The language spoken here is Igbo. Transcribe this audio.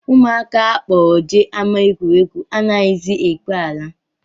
Ụmụaka a kpọrọ jee ama egwuregwu anaghịzi ekwe ala